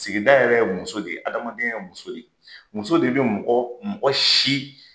Sigida yɛrɛ ye muso de ye, adamadenya ye muso ye, muso de bɛ mɔgɔ mɔgɔ si